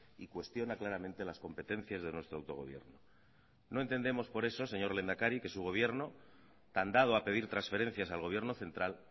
y cuestiona claramente las competencias de nuestro autogobierno no entendemos por eso señor lehendakari que su gobierno tan dado a pedir transferencias al gobierno central